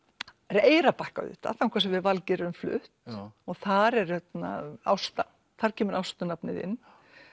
Eyrarbakka auðvitað þangað sem við Valgeir erum flutt þar er Ásta þar kemur Ástu nafnið inn